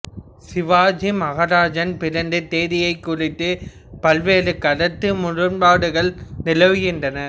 சிவாஜி மகாராஜின் பிறந்த தேதியைக் குறித்து பல்வேறு கருத்து முரண்பாடுகள் நிலவுகின்றன